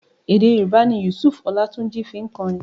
Èdé Yorùbá ni Yusuf Ọlátúnjí fi ń kọrin.